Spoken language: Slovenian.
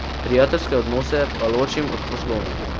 Prijateljske odnose pa ločim od poslovnih.